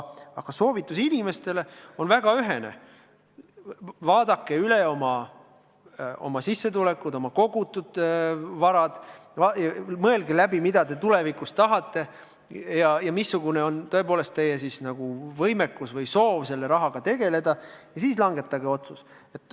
Aga soovitus inimestele on väga ühene: vaadake üle oma sissetulekud, oma kogutud vara, mõelge läbi, mida te tulevikus tahate ja missugune on teie võimekus selle rahaga tegeleda, ja siis langetage otsus.